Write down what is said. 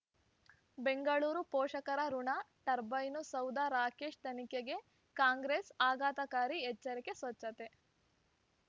ಬೆಂಗಳೂರು ಪೋಷಕರಋಣ ಟರ್ಬೈನು ಸೌಧ ರಾಕೇಶ್ ತನಿಖೆಗೆ ಕಾಂಗ್ರೆಸ್ ಆಘಾತಕಾರಿ ಎಚ್ಚರಿಕೆ ಸ್ವಚ್ಛತೆ